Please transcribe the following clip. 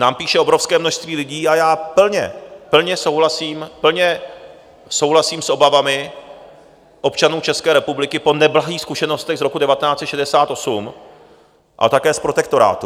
Nám píše obrovské množství lidí, a já plně souhlasím s obavami občanů České republiky po neblahých zkušenostech z roku 1968, ale také z protektorátu.